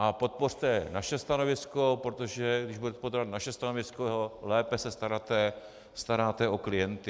A podpořte naše stanovisko, protože když budete podporovat naše stanovisko, lépe se staráte o klienty.